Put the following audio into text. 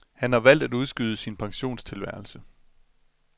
Han har valgt at udskyde sin pensionisttilværelse.